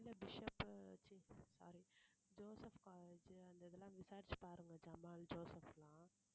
இல்ல Bishop sorry Joseph college அந்த இதெல்லாம் விசாரிச்சு பாருங்க ஜமால் ஜோசப் எல்லாம்